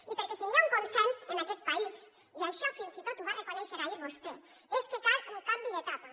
i perquè si n’hi ha un consens en aquest país i això fins i tot ho va reconèixer ahir vostè és que cal un canvi d’etapa